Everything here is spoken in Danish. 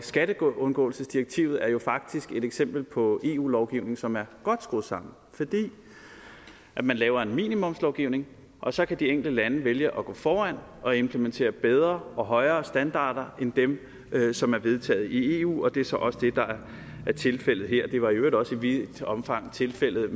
skatteundgåelsesdirektivet er faktisk et eksempel på eu lovgivning som er godt skruet sammen fordi man laver en minimumslovgivning og så kan de enkelte lande vælge at gå foran og implementere bedre og højere standarder end dem som er vedtaget i eu det er så også det der er tilfældet her det var i øvrigt også i vidt omfang tilfældet